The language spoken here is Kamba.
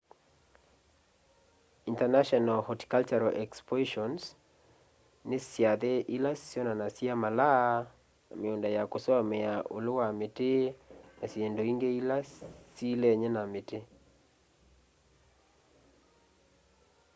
international horticultural expoitions ni syathe ila syonanasya malaa miunda ya kusomea ulu wa miti na syindu ingi ila syiilenie na miti